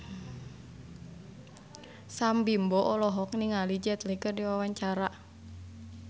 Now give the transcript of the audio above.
Sam Bimbo olohok ningali Jet Li keur diwawancara